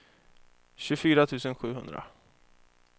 tjugofyra tusen sjuhundra